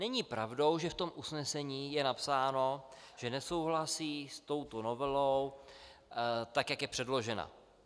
Není pravdou, že v tom usnesení je napsáno, že nesouhlasí s touto novelou, tak jak je předložena.